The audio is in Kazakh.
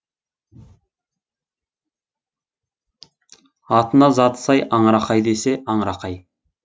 атына заты сай аңырақай десе аңырақай